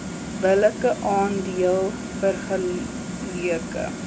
billike aandeel vergeleke